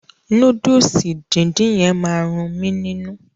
Núdùùsì díndín yẹn ma run mí nínú.